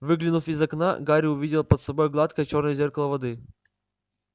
выглянув из окна гарри увидел под собой гладкое чёрное зеркало воды